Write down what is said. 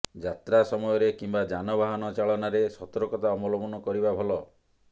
ଯାତ୍ରା ସମୟରେ କିମ୍ବା ଯାନବାହନ ଚାଳନାରେ ସତର୍କତା ଅବଲମ୍ବନ କରିବା ଭଲ